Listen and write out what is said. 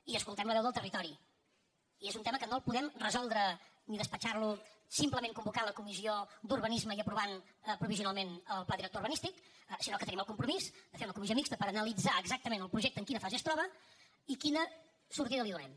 i escoltem la veu del territori i és un tema que no el podem resoldre ni despatxar lo simplement convocant la comissió d’urbanisme i aprovant provisionalment el pla director urbanístic sinó que tenim el compromís de fer una comissió mixta per analitzar exactament el projecte en quina fase es troba i quina sortida li donem